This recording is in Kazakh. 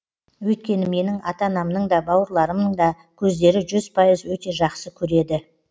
өйткені менің ата анамның да бауырларымның да көздері жүз пайыз өте жақсы көреді